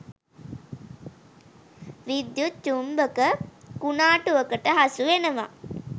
විද්‍යුත් චුම්බක කුණාටුවකට හසුවෙනවා.